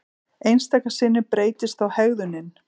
Einstaka sinnum breytist þó hegðunin.